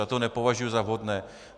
Já to nepovažuji za vhodné.